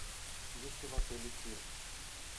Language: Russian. есть ли в отеле тир